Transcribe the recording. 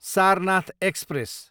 Sarnath express